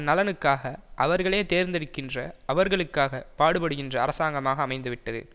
நலனுக்காக அவர்களே தேர்ந்தெடுக்கின்ற அவர்களுக்காக பாடுபடுகின்ற அரசாங்கமாக அமைந்துவிட்டது